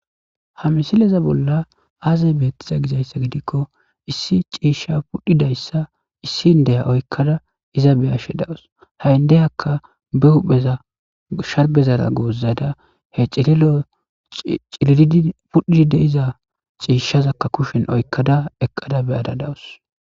Ha misileza bola azze betizay gida gidikko issi cisha issi indiya oykada izza beyashe daws ha indiyaka be hupheza sharbezan gozada cililidi pudhidi loyza abeba kushen oyqada beyada dawus.